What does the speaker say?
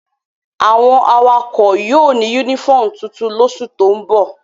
Awon awakọ yóò ni unifọmú tuntun losu to n bo